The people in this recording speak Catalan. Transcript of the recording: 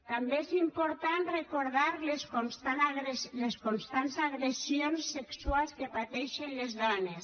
també és important recordar les constants agressions sexuals que pateixen les dones